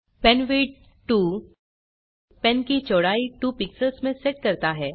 pen width 2 pen की चौड़ाई 2 pixels में सेट करता है